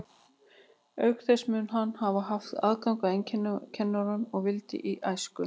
Auk þess mun hann hafa haft aðgang að einkakennurum að vild í æsku.